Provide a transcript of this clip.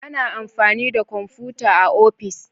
A na amfani da komfuta a ofis